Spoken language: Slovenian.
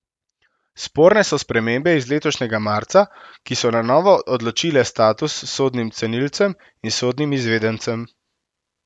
Sporne so spremembe iz letošnjega marca, ki so na novo odločile status sodnim cenilcem in sodnim izvedencem.